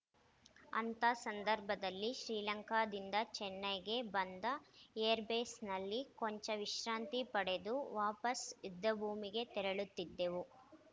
ಅಂಥ ಸಂದರ್ಭದಲ್ಲಿ ಶ್ರೀಲಂಕಾದಿಂದ ಚೆನ್ನೈಗೆ ಬಂದು ಏರ್‌ಬೇಸ್‌ನಲ್ಲಿ ಕೊಂಚ ವಿಶ್ರಾಂತಿ ಪಡೆದು ವಾಪಸ್‌ ಯುದ್ಧಭೂಮಿಗೆ ತೆರಳುತ್ತಿದ್ದೆವು